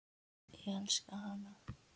Ég elska hana.